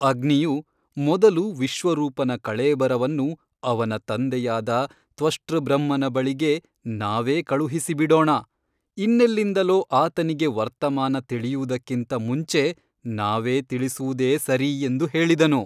ಅಗ್ನಿಯು ಮೊದಲು ವಿಶ್ವರೂಪನ ಕಳೇಬರವನ್ನು ಅವನ ತಂದೆಯಾದ ತ್ವಷ್ಟೃಬ್ರಹ್ಮನ ಬಳಿಗೆ ನಾವೇ ಕಳುಹಿಸಿಬಿಡೋಣ ಇನ್ನೆಲ್ಲಿಂದಲೋ ಆತನಿಗೆ ವರ್ತಮಾನ ತಿಳಿಯುವುದಕ್ಕಿಂತ ಮುಂಚೆ ನಾವೇ ತಿಳಿಸುವುದೇ ಸರಿ ಎಂದು ಹೇಳಿದನು.